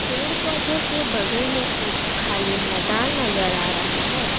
पेड़ पौधों के बगल में एक खाली मैदान नजर आ रहा है।